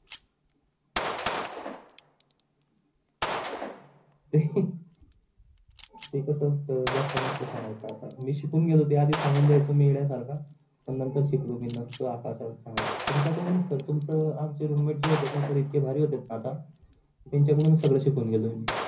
ते कस असत जास्त नसत सांगायच आता मी शिकून गेलो ते आधी सांगून द्यायचो मी एडया सारखा पण नंतर शिकलो, मी नसतो आता आता सांगायच तुमच्या कडूनच तर sir तुमच आमचे जे roomet जे होते णा sir इतके भारी होते णा आता त्यांचा कडूनच सगड सिकलो मी